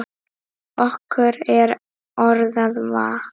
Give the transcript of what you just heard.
Okkur er orða vant.